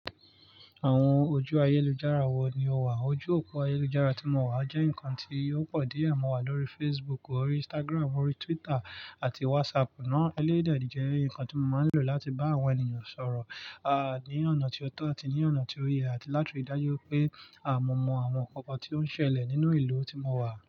Àwọn ojú ayélujára wo ni o wà? Ojú òpó ayélujára tí mo wà jẹ́ ǹkan tí yóò pọ̀ díẹ̀ mọ́ wa lórí Facebook, órí Instagram, órí Twitter àti WhatsApp ná. Elé dè jẹ́ ǹkan tí mo máa ń lò láti bá àwọn ènìyàn sọ̀rọ̀, a, ní ọ̀nà tí ó tọ́ àti ní ọ̀nà tí ó yẹ àti láti rí dájú pé a mọ̀ mọ̀ àwọn ǹkan kan tí ó ń ṣẹlẹ̀ nínú ìlú tí mo wà.